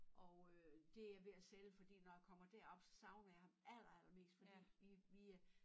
Og øh det jeg ved at sælge fordi når jeg kommer derop så savner jeg ham aller aller mest fordi vi vi øh